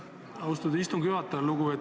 Aitäh, austatud istungi juhataja!